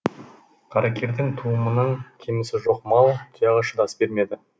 қаракердің туымының кемісі жоқ мал тұяғы шыдас бермеді